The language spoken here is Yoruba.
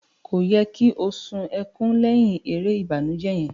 Ko yẹ ki o sun ẹkùn lẹhin èrè ìbànújẹ yẹn?